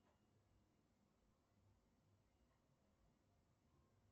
афина место проживания уэллингтон